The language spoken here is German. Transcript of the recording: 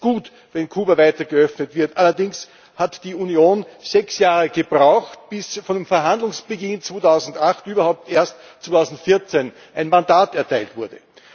Es ist gut, wenn Kuba weiter geöffnet wird. Allerdings hat die Union sechs Jahre gebraucht, bis vom Verhandlungsbeginn 2008 überhaupt erst 2014 ein Mandat erteilt wurde.